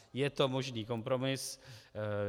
Je to možný kompromis.